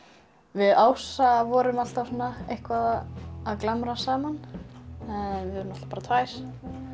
við Ása vorum alltaf eitthvað að glamra saman við vorum bara tvær